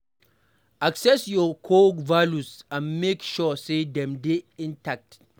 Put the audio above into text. Access your core values and make sure sey dem dey intact